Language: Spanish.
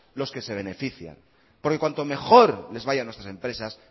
los que se benefician porque cuanto mejor les vaya a nuestras empresas